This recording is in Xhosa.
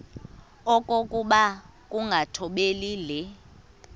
okokuba ukungathobeli le